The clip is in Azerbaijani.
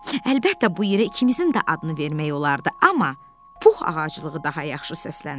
Əlbəttə, bu yerə ikimizin də adını vermək olardı, amma Pux ağaclığı daha yaxşı səslənir.